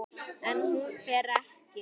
En hún fer ekki.